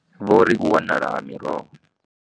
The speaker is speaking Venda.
Vho ri u wanala ha miroho.